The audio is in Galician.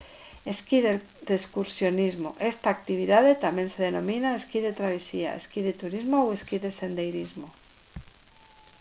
esquí de excursionismo esta actividade tamén se denomina esquí de travesía esquí de turismo ou esquí de sendeirismo